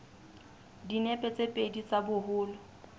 dinepe tse pedi tsa boholo